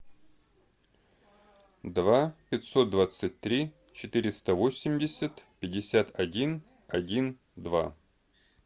два пятьсот двадцать три четыреста восемьдесят пятьдесят один один два